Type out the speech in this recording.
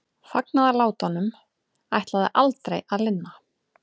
Fagnaðarlátunum ætlaði aldrei að linna.